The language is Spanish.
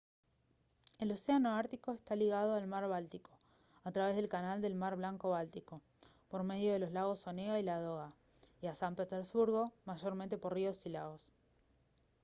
el océano ártico está ligado al mar báltico a través del canal del mar blanco-báltico por medio de los lagos onega y ladoga y a san petersburgo mayormente por ríos y lagos